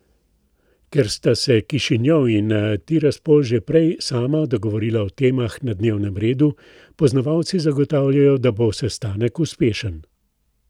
Ker sta se Kišinjov in Tiraspol že prej sama dogovorila o temah na dnevnem redu, poznavalci zagotavljajo, da bo sestanek uspešen.